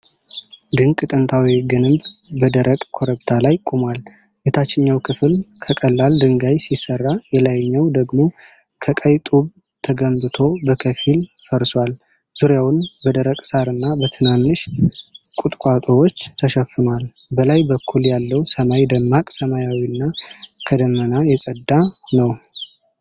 ድንቅ ጥንታዊ ግንብ በደረቅ ኮረብታ ላይ ቆሟል። የታችኛው ክፍል ከቀላል ድንጋይ ሲሰራ፣ የላይኛው ደግሞ ከቀይ ጡብ ተገንብቶ በከፊል ፈርሷል። ዙሪያውን በደረቅ ሣርና በትንንሽ ቁጥቋጦዎች ተሸፍኗል። በላይ በኩል ያለው ሰማይ ደማቅ ሰማያዊና ከደመና የጸዳ ነው።